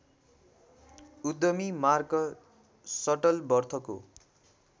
उद्यमी मार्क सटलवर्थको